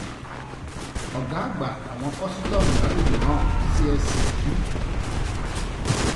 ọgá àgbà àwọn kòsítọọmù lágbègbè náà csc b